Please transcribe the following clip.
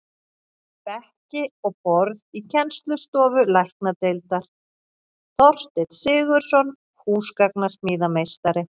Bekki og borð í kennslustofur læknadeildar: Þorsteinn Sigurðsson, húsgagnasmíðameistari.